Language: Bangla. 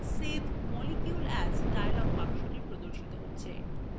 save molecule as dialog বক্সটি প্রদর্শিত হচ্ছে